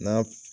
N'a